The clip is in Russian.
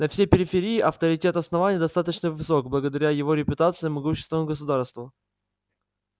на всей периферии авторитет основания достаточно высок благодаря его репутации могущественного государства